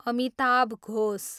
Amitabh Ghosh